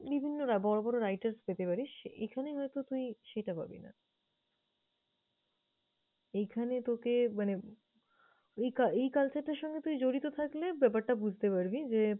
বিভিন্নরা বড়ো বড়ো writers পেতে পারিস, এখানে হয়তো তুই সেটা পাবিনা। এইখানে তোকে মানে ওই~ এই culture টার সঙ্গে তুই জড়িত থাকলে ব্যাপারটা বুঝতে পারবি। যে